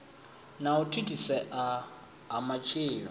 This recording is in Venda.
na u thithisea ha matshilo